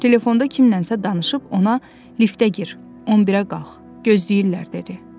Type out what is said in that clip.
Telefonda kimlənsə danışıb ona liftə gir, 11-ə qalx, gözləyirlər dedi.